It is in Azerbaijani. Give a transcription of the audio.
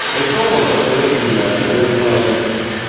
Heç olmasa belə günlərdə belə dua eləmə.